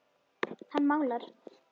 Hann málar.